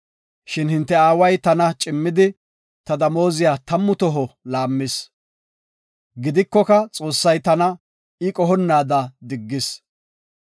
Shin hinte aaway tana cimmidi, ta damooziya tammu toho laammis. Gidikoka Xoossay tana I qohonnaada diggis.